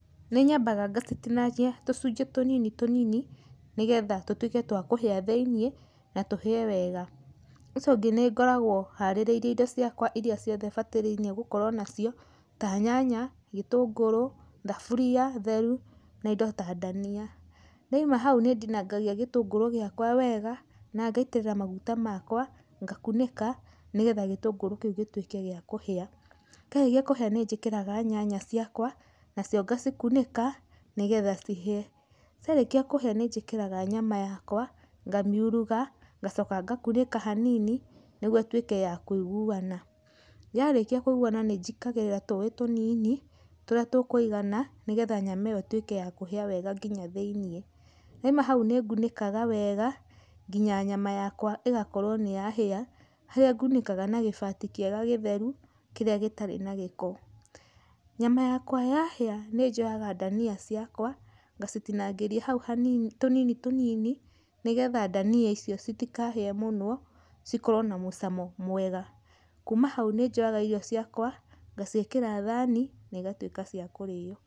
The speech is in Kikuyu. Nĩnyambaga ngacitinangia tũcunjĩ tũnini tũnini nĩgetha tũtuĩke twa kũhĩa thĩiniĩ na tũhĩe wega. Ũcio ũngĩ nĩngoragwo harĩrĩirie indo ciakwa iria ciothe batarainie gũkorwo nacio ta nyanya, gĩtũngũrũ, thaburia theru na indo ta ndania. Ndaima hau nĩndinangagia gĩtũngũrũ gĩakwa wega, na ngaitĩrĩra maguta makwa, ngakunĩka nĩgetha gĩtũngũru kĩu gĩtuĩke gĩa kũhĩa. Kĩarĩkia kũhĩa nĩnjĩkĩraga nyanya ciakwa, nacio ngacikunĩka nĩgetha cihĩe. Ciarĩkia kũhĩa nĩnjĩkĩraga nyama yakwa, ngamiuruga, ngacokaa ngakunĩka hanini nĩgwo ĩtuĩke ya kũiguana. Yarĩkia kũiguana nĩnjĩkagĩrĩra tũĩ tũnini tũrĩa tũkũigana nĩgetha nyama ĩyo ĩtuĩke ya kũhĩa wega nginya thĩiniĩ. Ndaima hau nĩngunĩkaga wega nginya nyama yakwa ĩgakorwo nĩyahĩa, harĩa ngunĩkaga na gĩbati kĩega gĩtheru kĩrĩa gĩtarĩ na gĩko. Nyama yakwa yahĩa nĩnjoyaga ndania ciakwa, ngacitinangĩria hau hani, tũnini tũnini nĩgetha ndania icio citikahĩe mũno cĩkorwo na mũcamo mwega. Kuuma hau nĩnjoyaga irio ciakwa, ngaciĩkĩra thani na ĩgatuĩka cia kũrĩywo.